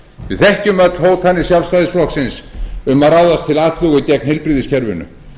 við þekkjum öll hótanir sjálfstæðisflokksins um að ráðast til atlögu gegn heilbrigðiskerfinu